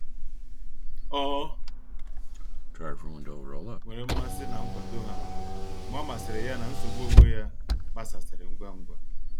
Ọ nwere mmasị na nkwado ha, ma omasiri ya na nsogbu onwe ya gbasasịrị ngwa ngwa.